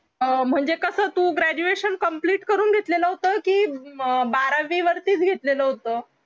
अह म्हणजे कस तु graduation complete करून घेतलेलं होत की अं बारावी वरतीच घेतलेलं होत